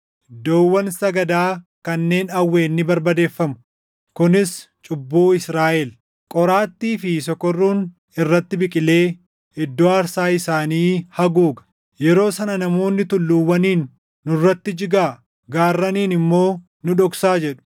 Iddoowwan sagadaa kanneen Awween ni barbadeeffamu; kunis cubbuu Israaʼel. Qoraattii fi sokorruun irratti biqilee iddoo aarsaa isaanii haguuga. Yeroo sana namoonni tulluuwwaniin, “Nurratti jigaa!” gaarraniin immoo, “Nu dhoksaa!” jedhu.